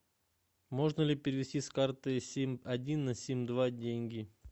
можно ли перевести с карты сим один на сим два деньги